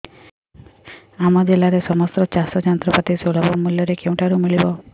ଆମ ଜିଲ୍ଲାରେ ସମସ୍ତ ଚାଷ ଯନ୍ତ୍ରପାତି ସୁଲଭ ମୁଲ୍ଯରେ କେଉଁଠାରୁ ମିଳିବ